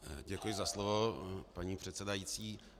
Děkuji za slovo, paní předsedající.